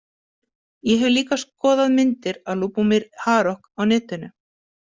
Ég hef líka skoðað myndir af Lubomir Harok á netinu.